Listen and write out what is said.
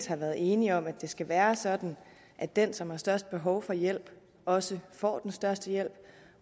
har været enige om at det skal være sådan at den som har størst behov for hjælp også får den største hjælp